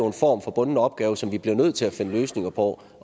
en form for bunden opgave som vi bliver nødt til at finde løsninger på